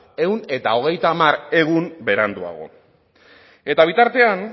ehun eta hogeita hamar egun beranduago eta bitartean